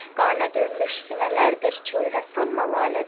Qanə dönmüş sinələrdir çöldə sanma lalədir.